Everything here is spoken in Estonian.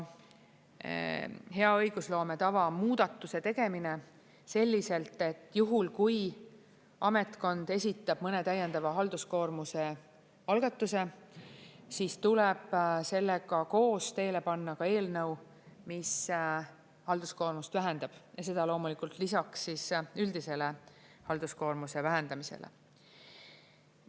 Hea õigusloome tava muudatuse tegemine selliselt, et juhul, kui ametkond esitab mõne täiendava halduskoormuse algatuse, siis tuleb sellega koos teele panna ka eelnõu, mis halduskoormust vähendab, ja seda loomulikult lisaks üldisele halduskoormuse vähendamisele.